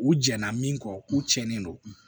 U jɛnna min kɔ u tiɲɛnen don